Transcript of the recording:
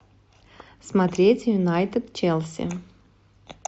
смотреть юнайтед челси